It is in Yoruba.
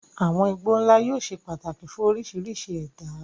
Àwọn igbó ńlá yóò ṣe pàtàkì fún oríṣiríṣi ẹ̀dá.